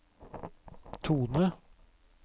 tone